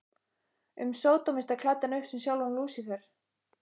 um sódómista klæddan upp sem sjálfan Lúsífer.